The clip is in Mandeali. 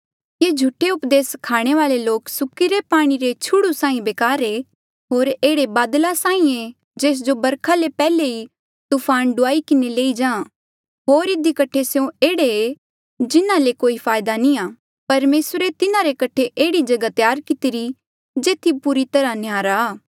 ये झूठे उपदेस स्खाणे वाले लोक सुक्किरे पाणी रे छुड़ु साहीं बेकार ऐें होर एह्ड़े बादल साहीं ऐें जेस जो बरखा ले पैहले ही तूफान डूआई किन्हें लई जाहाँ होर इधी कठे स्यों एह्ड़े जिन्हा ले कोई फायदा नी आ परमेसरे तिन्हारे कठे एह्ड़ी जगहा त्यार कितिरी जेथी पूरी तरहा न्याहरा आ